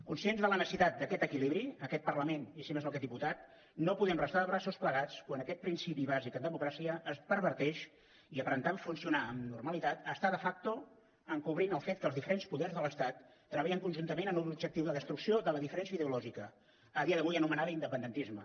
conscients de la necessitat d’aquest equilibri aquest parlament i si més no aquest diputat no podem restar de braços plegats quan aquest principi bàsic en democràcia es perverteix i aparentant funcionar amb normalitat està de facto encobrint el fet que els diferents poders de l’estat treballen conjuntament en un objectiu de destrucció de la diferència ideològica a dia d’avui anomenada independentisme